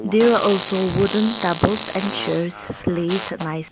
there are also wooden tables and chairs place nice--